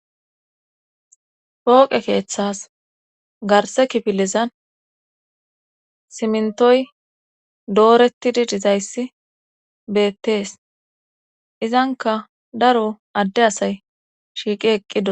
pooqe keeththas garse kifilizan simntoy dooretidi dizayssi beettees izanka daro adde asay shiiqi eqqido